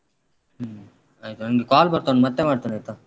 ಹ್ಮ್ ಆಯ್ತು ನಂಗೆ call ಬರ್ತಾ ಉಂಟು ಮತ್ತೆ ಮಾಡ್ತೇನಾಯ್ತ.